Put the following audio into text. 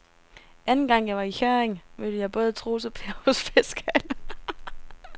Anden gang jeg var i Hjørring, mødte jeg både Troels og Per hos fiskehandlerne.